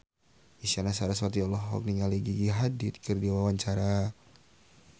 Isyana Sarasvati olohok ningali Gigi Hadid keur diwawancara